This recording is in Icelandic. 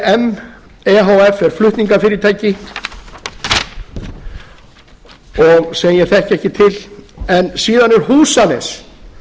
h f er flutningafyrirtæki og sem ég þekki ekki til en síðan er húsanes